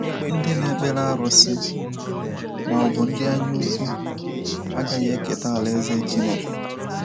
Ndị na-ekpere arụsị… ma ọ bụ ndị anyaukwu… agaghị eketa alaeze Chineke.